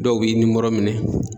Dɔw b'i nimɔrɔ minɛn.